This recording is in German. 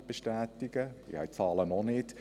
Ich habe die Zahlen noch nicht.